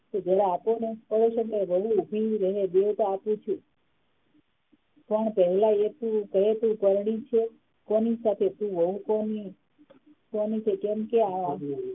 જરા આપોને અવશ્ય વહુ ઉભી રે બેટા આપું છું પણ પહેલા એ તો કે તું પરણી છે કોની સાથે તુ વહુ કોની કોની છે કેમ કે